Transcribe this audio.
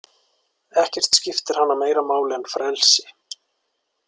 Ekkert skiptir hana meira máli en frelsi.